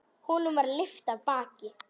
Honum var lyft af baki.